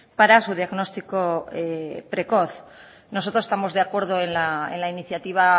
para su diagnóstico precoz nosotros estamos de acuerdo en la iniciativa